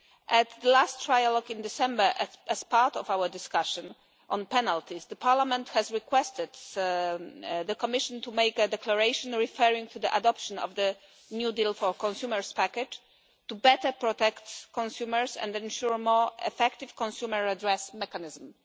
At the last trialogue in December, as part of our discussion on penalties, Parliament asked the Commission to make a declaration referring to the adoption of the New Deal for Consumers package to better protect consumers and ensure a more effective consumer redress mechanism.